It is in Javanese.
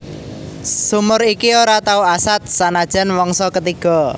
Sumur iki ora tau asat sanajan mangsa ketiga